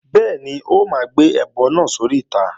Bẹ́ẹ̀ni, ó máa gbé ẹbọ náà sóríta